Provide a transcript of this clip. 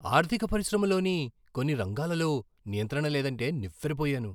ఆర్థిక పరిశ్రమలోని కొన్ని రంగాలలో నియంత్రణ లేదంటే నివ్వెరపోయాను.